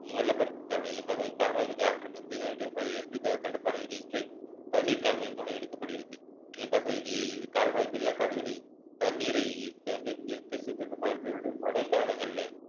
வெள்ளப்பெருக்கு கால்வாய் இவ்வகை கால்வாய் நேரடியாக எவ்வித தடுப்பணைகள் இன்றி தண்ணீர் கால்வாயின் மூலம் எடுக்கப்படுகிறது இவ்வகை இது கால்வாய் வெள்ளக்காடுகளில் தண்ணீரை தண்ணீரை நீர் மழைக்காலங்கள்ல